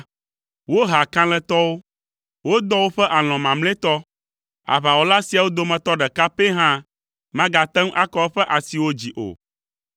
Woha kalẽtɔwo, wodɔ woƒe alɔ̃ mamlɛtɔ; aʋawɔla siawo dometɔ ɖeka pɛ hã magate ŋu akɔ eƒe asiwo dzi o.